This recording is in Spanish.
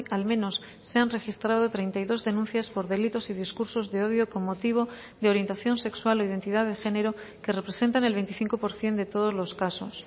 al menos se han registrado treinta y dos denuncias por delitos y discursos de odio con motivo de orientación sexual o identidad de género que representan el veinticinco por ciento de todos los casos